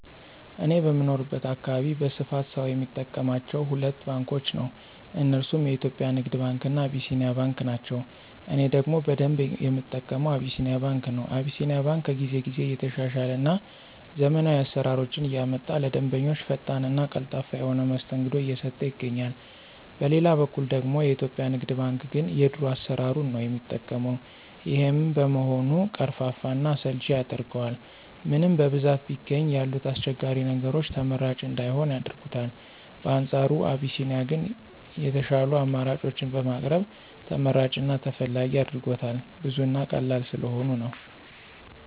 እኔ በምኖርበት አካባቢ በስፋት ሰው የሚጠቀማቸው ሁለት ባንኮችን ነው። እነርሱም የኢትዮጵያ ንግድ ባንክ እና አቢሲኒያ ባንክ ናቸው። እኔ ደግሞ በደንብ የምጠቀመው አቢሲኒያ ባንክ ነው። አቢሲኒያ ባንክ ከጊዜ ጊዜ እየተሻሻለ እና ዘመናዊ አሰራሮችን እያመጣ ለደንበኞቹ ፈጣን እና ቀልጣፋ የሆነ መስተንግዶ እየሰጠ ይገኛል። በሌላ በኩል ደግሞ የኢትዮጵያ ንግድ ባንክ ግን የድሮ አሰራሩን ነው የሚጠቀው። ይሄም በመሆኑ ቀርፋፋ እና አሰልቺ ያደርገዋል። ምንም በብዛት ቢገኝ ያሉት አስቸጋሪ ነገሮች ተመራጭ እንዳይሆን ያደርጉታል። በአንፃሩ አቢሲኒያ ግን የሻሉ አማራጮችን በማቅረብ ተመራጭ እና ተፈላጊ አድርጎታል። ብዙ እና ቀላል ስለሆኑ ነው።